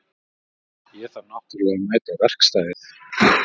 Ég þarf náttúrlega að mæta á verkstæðið.